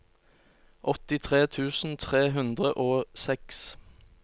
åttitre tusen tre hundre og seks